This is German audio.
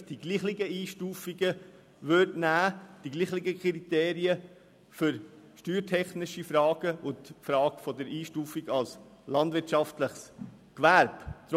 Ich persönlich erachte es als formell richtig, wenn man für steuertechnische Fragen und für die Frage der Einstufung als landwirtschaftliches Gewerbe dieselben Kriterien verwenden würde.